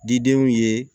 Didenw ye